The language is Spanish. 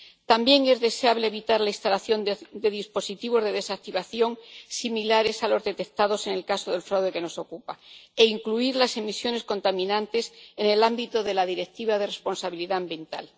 También es deseable evitar la instalación de dispositivos de desactivación similares a los detectados en el caso del fraude que nos ocupa e incluir las emisiones contaminantes en el ámbito de la Directiva de responsabilidad ambiental.